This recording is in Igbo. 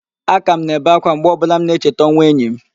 Aka m na-ebe ákwá mgbe ọbụla m cheta ọnwụ enyi m